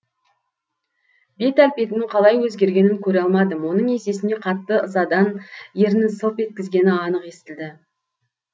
бет әлпетінің қалай өзгергенін көре алмадым оның есесіне қатты ызадан ернін сылп еткізгені анық естілді